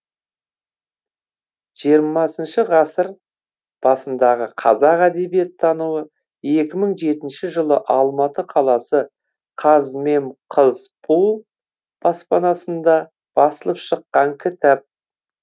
жиырмасыншы ғасыр басындағы қазақ әдебиеттануы екі мың жетінші жылы алматы қаласы қазмемқызпу баспанасында басылып шыққан кітап